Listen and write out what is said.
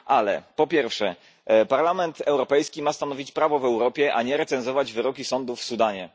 Ale po pierwsze, Parlament Europejski ma stanowić prawo w Europie, a nie recenzować wyroki sądów w Sudanie.